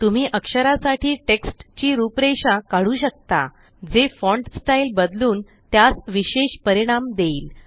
तुम्ही अक्षरासाठी टेक्स्ट ची रूपरेषा काढू शकता जे फ़ॉन्ट स्टाईल बदलून त्यास विशेष परिणाम देईल